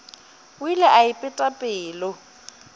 o ile a ipeta pelo